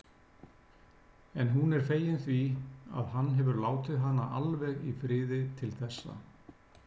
En hún er fegin því að hann hefur látið hana alveg í friði til þessa.